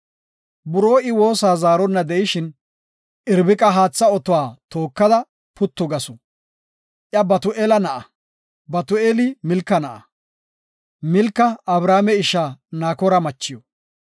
Buroo I woosa zaarona de7ishin, Irbiqa haatha oto tookada puttu gasu. Iya Batu7eela na7a, Batu7eeli Milka na7a, Milka Abrahaame isha Nakoora machiw.